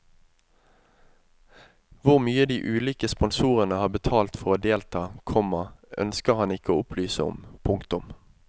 Hvor mye de ulike sponsorene har betalt for å delta, komma ønsker han ikke å opplyse om. punktum